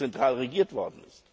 nie zentral regiert wurde.